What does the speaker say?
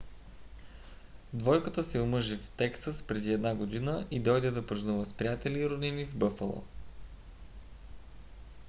двойката се омъжи в тексас преди една година и дойде да празнува с приятели и роднини в бъфало